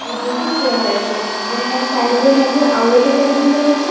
ଦୁଇଟି ଚେୟାର ଅଛି ଏବଂ ତା ସାଇଡ୍ ରେ ମଧ୍ୟ ଆଉ ଏକ ଟେବୁଲ ପଡିଛି।